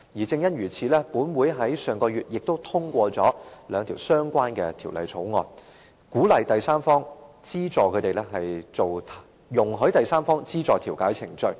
正因如此，立法會上月亦都通過了兩項相關的條例草案，鼓勵和容許第三方資助調解程序。